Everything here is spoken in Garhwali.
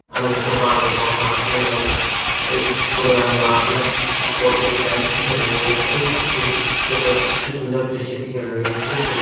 अलग-अलग प्रकार का पौधा अलग-अलग एक बगलल मा अलग सी कॉटेज टाइप दिखेण लयूं खूब अच्छू डेकोरेट अच्छु सुन्दर दृश्य दिखेंण लग्युं खूब बढ़िया।